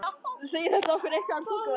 Segir þetta okkur eitthvað um tungumálið?